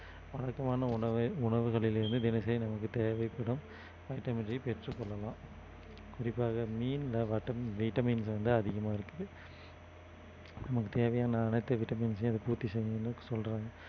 உணவு உணவுகளில் இருந்து தினசரி நமக்கு தேவைப்படும் vitamin D பெற்றுக்கொள்ளலாம் குறிப்பாக மீன்ல vitamin வந்து அதிகமா இருக்குது நமக்கு தேவையான அனைத்து vitamins ஐயும் இதை பூர்த்தி செய்யும்னு சொல்றாங்க